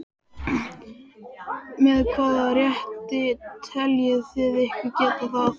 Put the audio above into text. Með hvaða rétti teljið þið ykkur geta það?